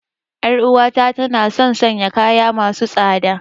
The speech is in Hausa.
Yar uwata tana son sanya kaya masu tsada.